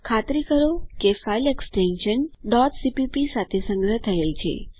ખાતરી કરો કે ફાઈલ એક્સટેશન cpp સાથે સંગ્રહ થયેલ છે